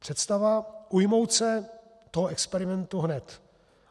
Představa ujmout se toho experimentu hned.